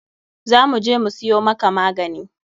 Za mu je mu siyo maka magani.